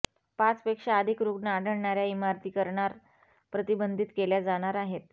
पाचपेक्षा अधिक रुग्ण आढळणाऱ्या इमारती करणार प्रतिबंधीत केल्या जाणार आहेत